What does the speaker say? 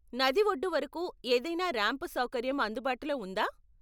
నది ఒడ్డు వరకు ఏదైనా రాంప్ సౌకర్యం అందుబాటులో ఉందా?